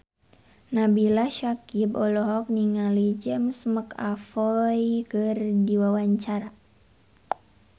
Nabila Syakieb olohok ningali James McAvoy keur diwawancara